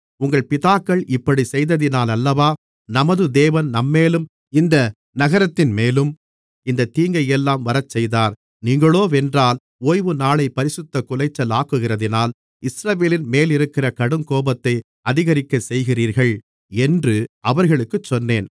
உங்கள் பிதாக்கள் இப்படிச் செய்ததினாலல்லவா நமது தேவன் நம்மேலும் இந்த நகரத்தின்மேலும் இந்தத் தீங்கையெல்லாம் வரச்செய்தார் நீங்களோவென்றால் ஓய்வுநாளைப் பரிசுத்தக் குலைச்சலாக்குகிறதினால் இஸ்ரவேலின் மேலிருக்கிற கடுங்கோபத்தை அதிகரிக்கச்செய்கிறீர்கள் என்று அவர்களுக்குச் சொன்னேன்